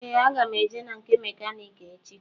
Ee aga m eje na nke mekaniki echi.